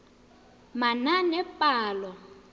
manaanepalo